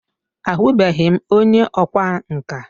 A hụbeghi m onye ọkwa nka.